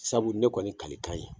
Sabu ne kɔni kalekan ye